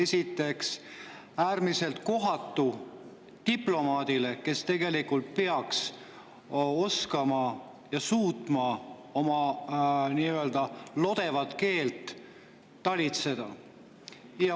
See on äärmiselt kohatu diplomaadile, kes tegelikult peaks oskama ja suutma oma lodevat keelt talitseda.